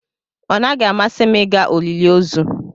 Ọ naghị amasị m ịga olili ozu.